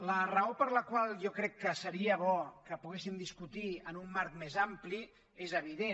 la raó per la qual jo crec que seria bo que poguéssim discutir en un marc més ampli és evident